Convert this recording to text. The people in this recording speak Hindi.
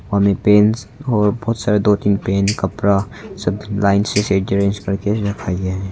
हमें पैंट और बहुत सारे दो तीन पेन कपड़ा सब लाइन से स्ट्रेंज करके रखा गया है।